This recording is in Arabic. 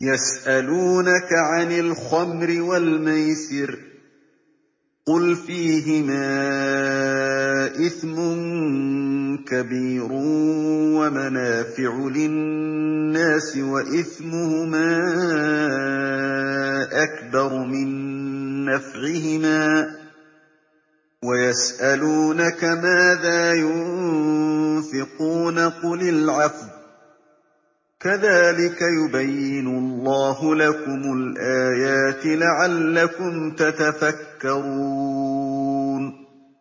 ۞ يَسْأَلُونَكَ عَنِ الْخَمْرِ وَالْمَيْسِرِ ۖ قُلْ فِيهِمَا إِثْمٌ كَبِيرٌ وَمَنَافِعُ لِلنَّاسِ وَإِثْمُهُمَا أَكْبَرُ مِن نَّفْعِهِمَا ۗ وَيَسْأَلُونَكَ مَاذَا يُنفِقُونَ قُلِ الْعَفْوَ ۗ كَذَٰلِكَ يُبَيِّنُ اللَّهُ لَكُمُ الْآيَاتِ لَعَلَّكُمْ تَتَفَكَّرُونَ